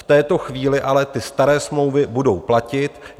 V této chvíli ale ty staré smlouvy budou platit.